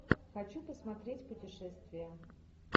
хочу посмотреть путешествия